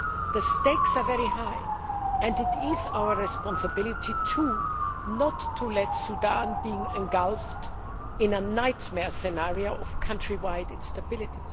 The stakes are very high, and it is our responsibility not to let Sudan be engulfed in a nightmare scenario of country wide instability.